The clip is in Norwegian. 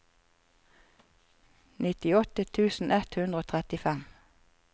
nittiåtte tusen ett hundre og trettifem